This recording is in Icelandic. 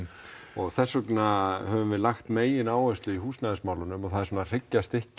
og þess vegna höfum við lagt megináherslu í húsnæðismálunum og það er svona hryggjarstykkið